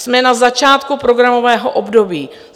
Jsme na začátku programového období.